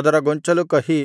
ಅದರ ಗೊಂಚಲು ಕಹಿ